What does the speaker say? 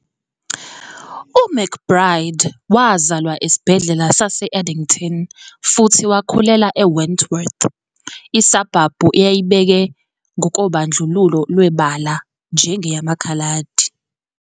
UMcBride wazalwa esibhedlela sase-Addington futhi wakhulela eWentworth, isabhabhu eyayibeke ngokobandlululo lwebala njengeyamaKhaladi